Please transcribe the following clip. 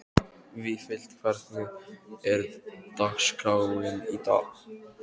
Vífill, hvernig er dagskráin í dag?